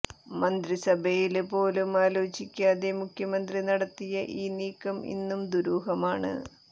മന്ത്രിസഭയില് പോലും ആലോചിക്കാതെ മുഖ്യമന്ത്രി നടത്തിയ ഈ നീക്കം ഇന്നും ദുരൂഹമാണ്